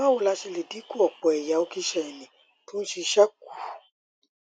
báwo la ṣe lè dínku ọpọ ẹyà okíṣéènì tó ń ṣiṣẹ kù